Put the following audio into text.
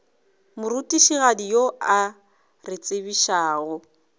morutišigadi yo a re tsebišago